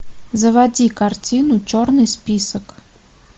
заводи картину черный список